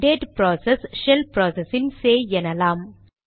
date process shell process இன் சேய் எனலாம்